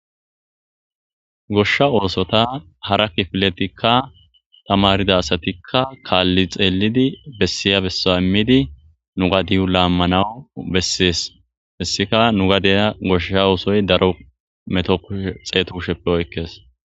Goshsha oosota hara kifiletikka tamarida asatikka kaalli xeellidi bessiya bessa immidi nu gadiyu laammanawu bessees hessika nu gadeya goshsha oosoy daro meto xeeto kusheppe oykkees.